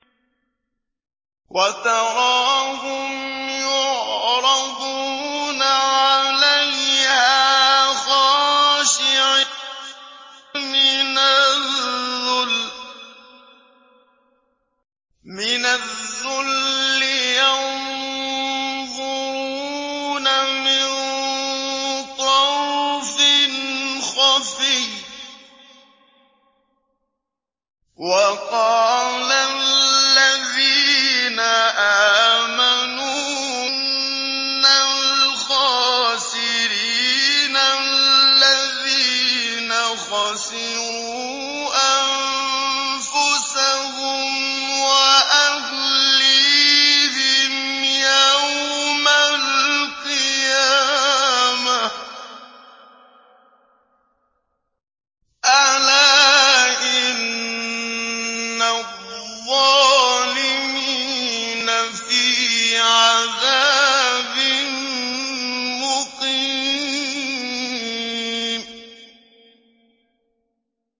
وَتَرَاهُمْ يُعْرَضُونَ عَلَيْهَا خَاشِعِينَ مِنَ الذُّلِّ يَنظُرُونَ مِن طَرْفٍ خَفِيٍّ ۗ وَقَالَ الَّذِينَ آمَنُوا إِنَّ الْخَاسِرِينَ الَّذِينَ خَسِرُوا أَنفُسَهُمْ وَأَهْلِيهِمْ يَوْمَ الْقِيَامَةِ ۗ أَلَا إِنَّ الظَّالِمِينَ فِي عَذَابٍ مُّقِيمٍ